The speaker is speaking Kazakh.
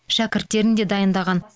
шәкірттерін де дайындаған